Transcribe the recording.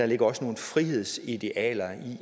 ligger nogle frihedsidealer